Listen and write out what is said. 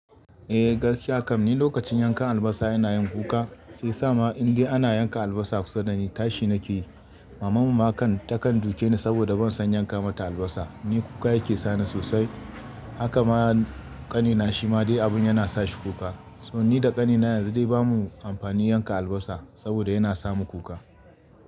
Eh gaskiya kam ni lokacin yankan albasa ina yin kuka, sai sa ma in dai ana yanka albasa kusa dani tashi nake yi. Maman mu kan ta kan duke ni saboda ban san yanka ma ta albasa. Ni kuka yake sani sosai. Haka ma ƙanina shi ma dai abun yana sa shi kuka. So ni da ƙanina yanzu dai bamu amfani yanka albasa saboda yana samu kuka.